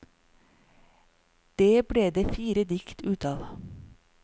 Det ble det fire dikt ut av.